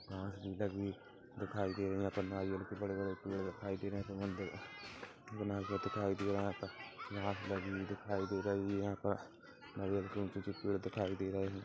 की लगि हुई दिखाई दे रही है यहाँ पर नारियल के बड़े- बड़े पेड़ दिखाई दे रहे है नारियल दिखाई दे रहे है लगि हुई दिखाई दे रही है यहाँ पर नारियल के ऊंचे -ऊंचे पेड़ दिखाई दे रहे है।